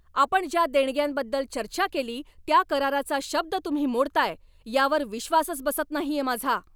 आपण ज्या देणग्यांबद्दल चर्चा केली त्या कराराचा शब्द तुम्ही मोडताय यावर विश्वासच बसत नाहीये माझा.